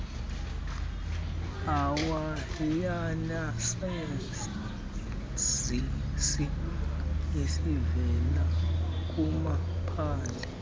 owayenesazisi esivela kumaphandle